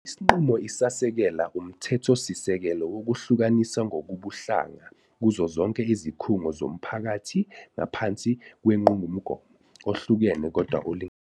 Isinqumo Isasekela umthethosisekelo wokuhlukaniswa ngokobuhlanga kuzo zonke izikhungo zomphakathi ngaphansi kwenqumgomo " ohlukene kodwa olinganayo ".